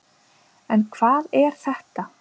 En hvað er þetta?